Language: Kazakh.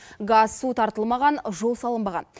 газ су тартылмаған жол салынбаған